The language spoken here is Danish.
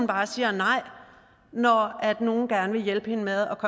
bare siger nej når nogle gerne vil hjælpe hende med at